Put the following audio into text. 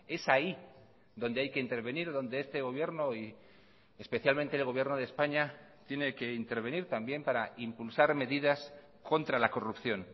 es ahí donde hay que intervenir donde este gobierno y especialmente el gobierno de españa tiene que intervenir también para impulsar medidas contra la corrupción